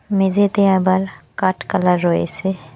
মেঝেতে আবার কাঠ কালার রয়েছে।